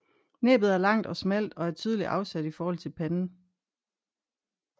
Næbbet er langt og smalt og er tydeligt afsat i forhold til panden